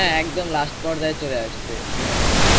হ্যাঁ একদম last পর্যায়ে চলে আসছে সিমের মৌসুম